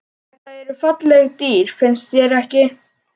Þetta eru falleg dýr, finnst þér ekki?